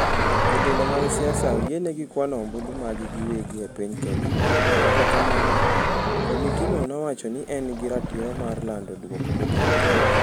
Jotelo mag siasa oyienegi kwano ombulu maggi giwegi e piny Kenya, Kata kamano, komitino nowacho ni en gi ratiro mar lando duoko mogik.